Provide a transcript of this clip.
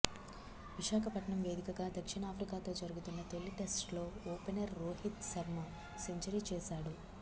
విశాఖపట్నం వేదికగా దక్షిణాఫ్రికాతో జరుగుతున్న తొలి టెస్టులో ఓపెనర్ రోహిత్ శర్మ సెంచరీ చేశాడు